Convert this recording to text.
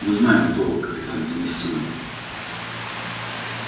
мы знаем кто вы капитан денис симонов